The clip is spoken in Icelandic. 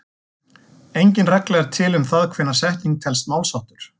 Engin regla er til um það hvenær setning telst málsháttur.